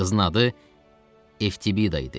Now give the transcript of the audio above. Qızın adı Eftibida idi.